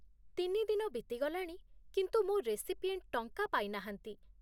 ତିନି ଦିନ ବିତିଗଲାଣି, କିନ୍ତୁ ମୋ ରେସିପିଏଣ୍ଟ ଟଙ୍କା ପାଇନାହାନ୍ତି ।